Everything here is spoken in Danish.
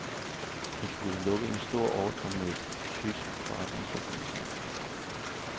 Hun skal lukke en stor ordre med en tysk forretningsforbindelse.